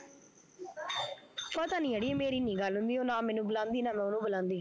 ਪਤਾ ਨੀ ਅੜੀਏ ਮੇਰੀ ਨੀ ਗੱਲ ਹੁੰਦੀ ਉਹ ਨਾ ਮੈਨੂੰ ਬੁਲਾਉਂਦੀ ਨਾ ਮੈਂ ਉਹਨੂੰ ਬੁਲਾਉਂਦੀ